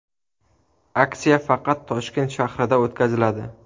Aksiya faqat Toshkent shahrida o‘tkaziladi.